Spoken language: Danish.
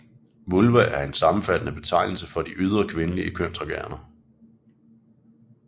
Vulva er en sammenfattende betegnelse for de ydre kvindelige kønsorganer